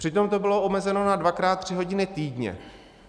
Přitom to bylo omezeno na dvakrát tři hodiny týdně.